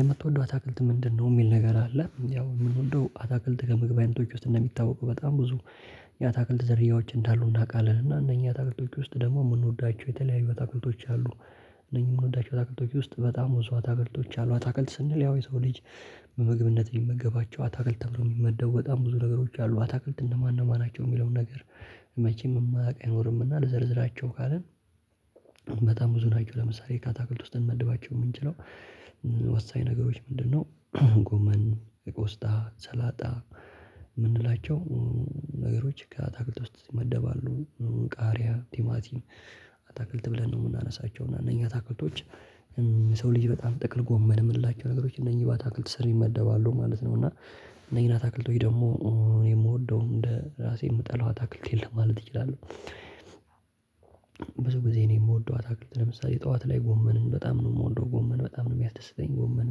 የምትወደው አታክልት ምንድነው? የሚል ነገር አለ ያው ምንወደው አታክልት ከምግብ አይነቶች ውስጥ እንደሚታወቀው በጣም ብዙ የአታክልት ዘርያዎች እንዳሉ እናውቃለን። እና እነኚህ አታክለቶች ውስጥ ደግሞ የምንወዳቸው የተለያዩ አታክለቶች አሉ። እነኚህ የምንወዳቸው አታክልቶች ውስጥ በጣም ብዙ አታክልቶች አሉ አታክልት ስንል ያው የሰው ልጅ በምግብነት ሊመገባቸው አታክልት ተብሎ የሚመደቡ በጣም ብዙ ነገሮች አሉ። አታክልት እነማን እነማን ናቸው የሚለውን ነገር መቼም የማያውቅ አይኖርምና ልዘርዝራቸው ካልን። በጣም ብዙ ናቸው ለምሳሌ ከአታክልት ውስጥ እንመድባቸው የምንችለው ወሳኝ ነገሮች ምንድነው? ጎመን የቆስጣ ሰላጣ የምንላቸው ነገሮች ከአታክልት ውስጥ ይመደባሉ። ቃሪያ ቲማቲም አታክልት ብለን ነው የምናነሳቸው እና እነኛ ታክልቶች። ሰው ልጅ በጣም ጥቅል ጎመን የምንላቸው ነገሮች እነኚህ ባታክልት ስር ይመደባሉ ማለት ነው። እና እነኚህን አታክልቶኝ ደግሞ እኔ የምወደውም እንደ ራሴ የምጠላው አታክልት የለም ማለት እችላለሁ። ብዙ ጊዜ እኔ የምወደው አታክልት ለምሳሌ ጠዋት ላይ ጎመንን በጣም ነው የምወደው ጎመን በጣም ነው የሚያስደስተኝ ጎመን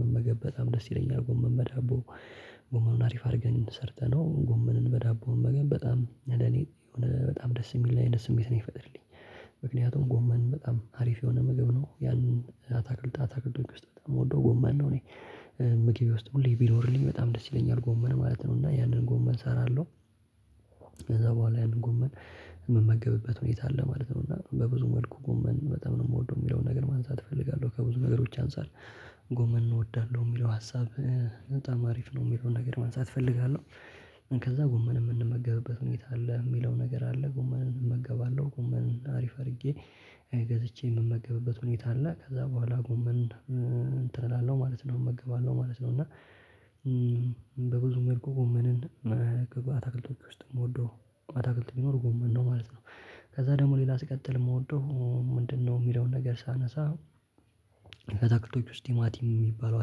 መመገብ በጣም ደስ ይለኛል ጎመን በዳቦ ጎመኑን አሪፍ አድርገን ሰርተነው ጎመንን በዳቦውን መመገብ በጣም እኔ የሆነ በጣም ደስ የሚል አይነት ስሜት ነው የሚፈጥርልኝ ምክንያቱም ጎመን በጣም አሪፍ የሆነ ምግብ ነው። ያን አታክልት አታክልቶች ውስጥ በጣም የምወደው ጎማን ነው እኔ ምግቤ ውስጥ ሁሌ ቢኖርልኝ በጣም ደስ ይለኛል ጎመን ማለት ነው እና ያንን ጎመን እሰራለሁ። ከዛ በኋላ ያንን ጎመን የምመገብበት ሁኔታ አለ ማለት ነው እና በብዙ መልኩ ጎመን በጣም ነው የምወደው የሚለውን ነገር ማንሳት እፈልጋለሁ። ከብዙ ነገሮች አንፃር ጎመን እወዳለሁ የሚለው ሀሳብ በጣም አሪፍ ነው የሚለውን ነገር መንሳት እፈልጋለሁ። ከዛ ጎመን የምንመገብበት ሁኔታ አለ የሚለው ነገር አለ ጎመንን እመገባለሁ ጎመን አሪፍ አድርጌ ገዝቼ የምመገብበት ሁኔታ አለ ከዛ በኋላ ጎመን እንትን እላለሁ ማለት ነው እመገባለሁ ማለት ነው። እና መልኩ ጎመንን ከባታክልቶቹ ውስጥ ነው የምወደው አታክልት ቢኖር ጎመን ነው ማለት ነው። ከዛ ደግሞ ሌላ ሲቀጥል የምወደው ምንድነው? የሚለውን ነገር ሳነሳ አታክልቶች ውስጥ ቲማቲም የሚባለው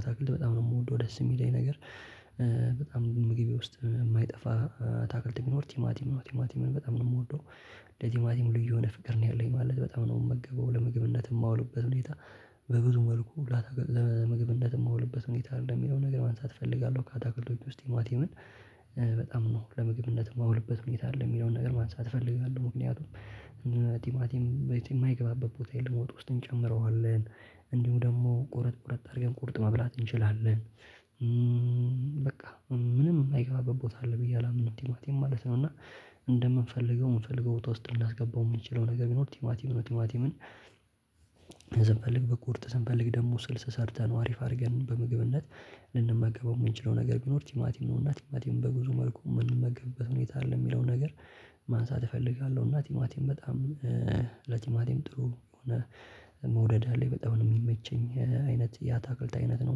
አታክልት በጣም ነው የምወደው ደስ የሚለኝ ነገር። በጣም ግን ምግቤ ውስጥ የማይጠፋ ታክልት ቢኖር ቲማቲም ቲማቲምን በጣም ነው የምወደው። ለቲማቲም ልዩ የሆነ ፍቅር ነው ያለኝ ማለት በጣም ነው የምመገበው ለምግብነት የማውልበት ሁኔታ። በብዙ መልኩ ሁላ ለምግብነት የማውልበት ሁኔታ አለ ሚለውን ነገር ማንሳት እፈልጋለሁ ካታክልቶች ውስጥ ቲማቲምን በጣም ነው ለምግብነት የማውልበት ሁኔታ አለ የሚለውን ነገር ማንሳት እፈልጋለሁ። ምክንያቱም ቲማቲም የማይገባበት ቦታ የለም ወጥ ውስጥ እንጨምረዋለን እንዲሁም ደግሞ ቆርጥ ቆረጥ አድርገን ቁርጥ መብላት እንችላለን። ምንም የማይገባበት ቦታ አለ ብዬ አላምንም ቲማቲም ማለት ነው። እና እንደምንፈልገው የምንፈልገው ቦታ ውስጥ ልናስገባው የምንችለው ነገር ቢኖር ቲማቲም ምን ቲማቲምን ስንፈልግ ብቁርጥ ስንፈልግ ደግሞ ስልስ ሰርተን አሪፍ አድርገን በምግብነት ልንመገበው የምንችለው ነገር ቢኖር ቲማቲም ነውና ቲማቲም በብዙ መልኩ የምንመገበት ሁኔታ አለ የሚለውን ነገር ማንሳት እፈልጋለሁ። እና ቲማቲም በጣም ለቲማቲም ጥሩ የሆነ መውደድ አለኝ በጣም ነው የሚመቸኝ አይነት ያታክልት አይነት ነው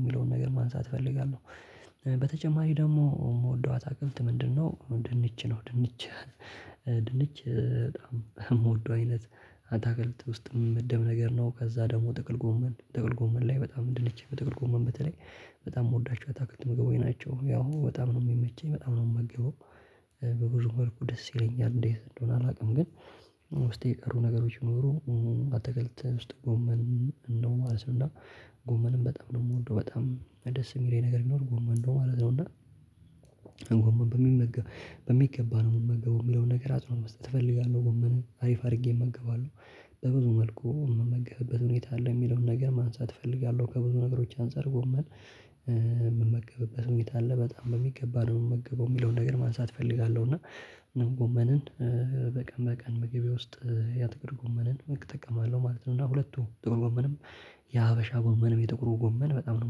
የሚለውን ነገር ማንሳት እፈልጋለሁ። በተጨማሪ ደግሞ የምወደው አታክልት ምንድነው? ድንች ነው ድንች ድንች በጣም የምወደው አይነት አታክልት ውስጥም የሚመደብ ነገር ነው ከዛ ደግሞ ጠቅል ጎመን ጥቅል ጎመን ላይ በጣም ድንች በጥቅል ጎመን በተለይ በጣም የምወዳቸው አታክልት ምግቦች ናቸው ያው በጣም ነው የሚመቸኝ በጣም ነው የምመገበው። በብዙ መልኩ ደስ ይለኛል እንዴት እንደሆነ አላውቅም። ግን ውስጤ የቀሩ ነገሮች ቢኖሩ አትክልት ውስጥ ጎመን ነው ማለት ነው እና ጎመንም በጣም ነው የምወደው በጣም ደስ የሚለኝ ነገር ቢኖር ጎመን ነው ማለት ነው። እና ጎመን በሚመገብ በሚገባ ነው የምመገበው የሚለውን ነገር አጽእኖ መስጠት እፈልጋለሁ ጎመንን አሪፍ አድርጌ እመገባለሁ በብዙ መልኩ የምመገብበት ሁኔታ አለ የሚለውን ነገር ማንሳት እፈልጋለሁ ከብዙ ነገሮች አንፃር ጎመን የምመገብበት ሁኔታ አለ በጣም በሚገባ ነው የምገበው የሚለውን ነገር ማንሳት እፈልጋለሁ። እና ምንም ጎመንን በቀን በቀን ምግቤ ውስጥ ያትክልት ጎመንን እጠቀማለሁ ማለት ነው እና ሁለቱ ጥቅል ጎመንም የሀበሻ ጎመንም የጥቁሩ ጎመን በጣም ነው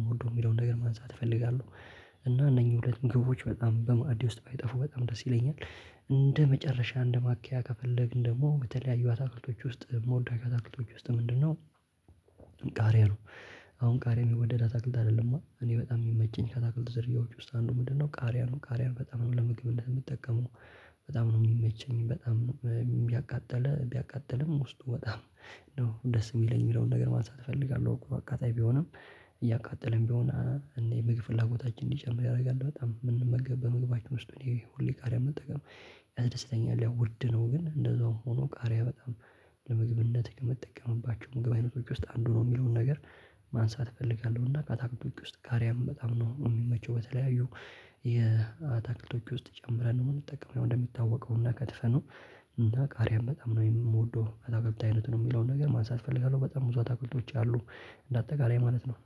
የምወደው የሚለውን ነገር ማንሳት እፈልጋለሁ። እና እነኚህ ሁለት ምግቦች በጣም በማዕዴ ውስጥ ባይጠፉ በጣም ደስ ይለኛል። እንደ መጨረሻ እንደ ማኪያ ከፈለግን ደግሞ ከተለያዩ አታክልቶች ውስጥ መውደው አታክልቶች ውስጥ ምንድነው? ቃሪያ ነው። አሁን ቃሪያ የሚወደድ አታክልት አይደለማ እኔ በጣም የሚመቸኝ ካታክልት ዝርያዎች ውስጥ አንዱ ምንድነው ቃሪያ ነው ቃሪያን በጣም ነው ለምግብነት እምጠቀመው በጣም ነው የሚመቸኝ በጣም ቢያቃጠለ ቢያቃጥልም ውስጡ በጣም ነው ደስ የሚለኝ የሚለውን ነገር ማንሳት እፈልጋለሁ። እኮ ቢሆንም እያቃጠለም ቢሆን እና ምግብ ፍላጎታችን እንዲጨምር ያደርጋል በጣም የምንመገብ በምግባችን ውስጥ እኔ ሁሌ ቃሪያን መጠቀም ያስደስተኛል። ያው ውድ ነው ግን እንደዛውም ሆኖ ቃሪያ በጣም ለምግብነት ከምጠቀምባቸው ምግብ አይነቶች ውስጥ አንዱ ነው የሚለውን ነገር ማንሳት እፈልጋለሁና። እና ከአታክልቶች ውስጥ ቃሪያን በጣም ነው እሚመቸው በተለያዩ የአታክልቶች ውስጥ ጨምረን ነው የምንጠቀመው ያው እንደሚታወቀው እና ከትፈነው እና ቃሪያም በጣም ነው የምወደው አታክልት አይነት ነው የሚለውን ነገር ማንሳት እፈልጋለሁ። በጣም ብዙ አታክልቶች አሉ እንደ አጠቃላይ ማለት ነው